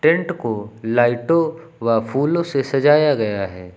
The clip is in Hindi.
टेंट को लाइटों व फूलों से सजाया गया है।